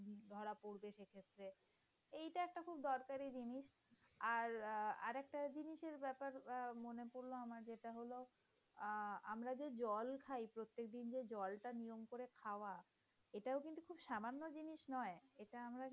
আর একটা জিনিস আর আরেকটা জিনিসের ব্যাপার মনে পড়লো আমার যেটা হলো, আহ আমরা যে জল খায় প্রত্যেকদিন যে জল নিয়ম করে খাওয়া এটাও কিন্তু খুব সামান্য জিনিস নয়। এটা আমরা